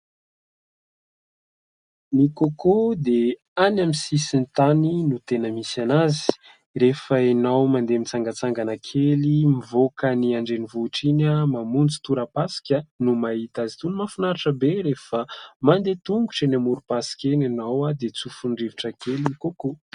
Ny kôkô dia any amin'ny sisin'ny tany no tena misy azy. Rehefa ianao mandeha mitsangatsangana kely mivoaka ny andrenivohitra iny, mamonjy tora-pasika no mahita azy. Toy ny mahafinaritra be rehefa mandeha tongotra eny amorom-pasika eny ianao dia tsofin'ny rivotra kely ny kôkô.